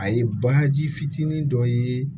A ye baji fitinin dɔ ye